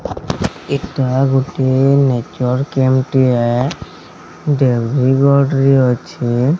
ଏଟା ଗୋଟିଏ nature camp ଟିଏ ଦେବିଗଡ ରେ ଅଛି।